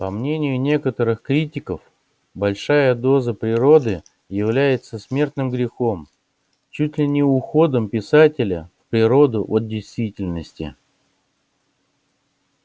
по мнению некоторых критиков большая доза природы является смертным грехом чуть ли не уходом писателя в природу от действительности